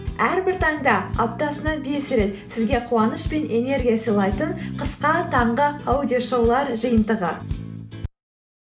әрбір таңда аптасына бес рет сізге қуаныш пен энергия сыйлайтын қысқа таңғы аудиошоулар жиынтығы